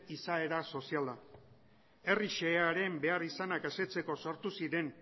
izaera soziala herri xehearen beharrizanak asetzeko sortu ziren